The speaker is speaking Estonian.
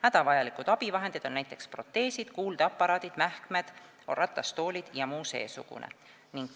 Hädavajalikud abivahendid on näiteks proteesid, kuuldeaparaadid, mähkmed, ratastoolid jms.